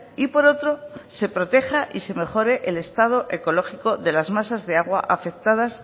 y por otro se proteja y se mejore el estado ecológico de las masas de agua afectadas